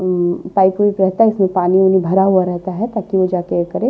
अ pipe वीईप रहता है इसमें पानी वाणी भरा हुआ रहता है ताकि वो जा के करे।